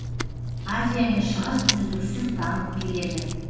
азия мен шығыс үздіксіз дамып келеді